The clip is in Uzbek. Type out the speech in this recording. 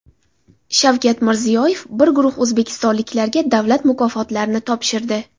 Shavkat Mirziyoyev bir guruh o‘zbekistonliklarga davlat mukofotlarini topshirdi.